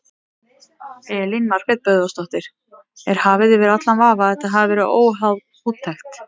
Elín Margrét Böðvarsdóttir: Er hafið yfir allan vafa að þetta verið óháð úttekt?